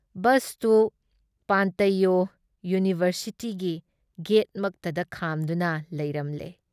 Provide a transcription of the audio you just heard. ꯕꯁꯇꯨ ꯄꯥꯟꯇꯩꯌꯣ ꯌꯨꯅꯤꯕꯔꯁꯤꯇꯤꯒꯤ ꯒꯦꯠꯃꯛꯇꯗ ꯈꯥꯝꯗꯨꯅ ꯂꯩꯔꯝꯂꯦ꯫